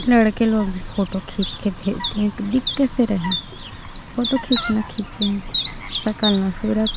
लड़के लोग फोटो खींच के भेज दिए दिख कैसे रहै फोटो खींच ना खींचे सकल ना सूरत --